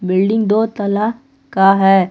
Building दो तल्ला का है।